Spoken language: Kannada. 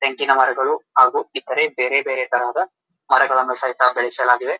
ಬೆಂಕಿನ ಮರಗಳು ಹಾಗು ಇತರ ಬೇರೆ ಬೇರೆ ತರಹದ ಮರಗಳನ್ನು ಸಹಿತ ಬೆಳೆಸಲಾಗಿದೆ.